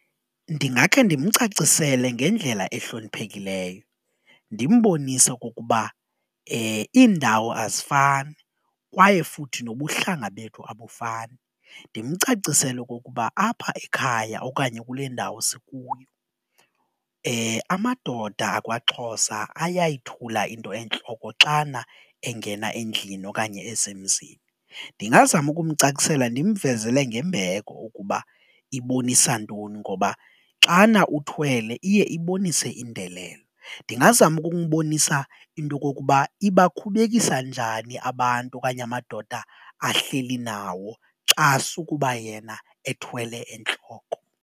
Ndingakhe ndimcacisele ngendlela ehloniphekileyo ndimbonise okokuba iindawo azifani kwaye futhi nobuhlanga bethu abufani ndimcacisele okukuba apha ekhaya okanye kule ndawo sikuyo amadoda akwaXhosa ayayithula into entloko xana engena endlini okanye esemzini. Ndingazama ukumcacisela ndimvezele ngembeko ukuba ibonisa ntoni ngoba xana uthwele iye ibonise indelelo, ndingazama ukumbonisa intokokuba ibakhubekisa njani abantu okanye amadoda ahleli nawo xa sukuba yena ethwele entloko.